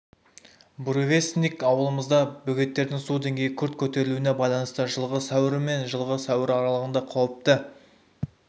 буревестник ауылымызда бөгеттердің су деңгейі күрт көтерілуіне байланысты жылғы сәуірі мен жылғы сәуірі аралығында қауіпті